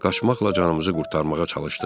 Qaçmaqla canımızı qurtarmağa çalışdıq.